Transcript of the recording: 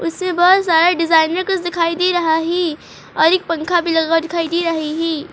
उसमे बहोत सारा डिज़ाइन में कुछ दिखाई दे रहा है और एक पंखा भी दिखाई दे रहा है।